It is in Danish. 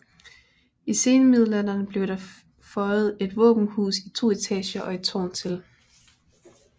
I senmiddealderen blev der føjet et våbenhus i to etager og et tårn til